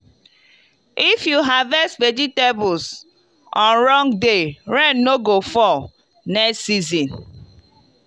if you harvest vegetables on wrong day rain no go fall next season.